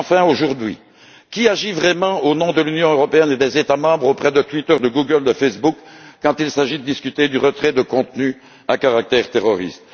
Aujourd'hui, qui agit vraiment au nom de l'Union européenne et des États membres auprès de Twitter, de Google et de Facebook, quand il s'agit de discuter du retrait de contenus à caractère terroriste?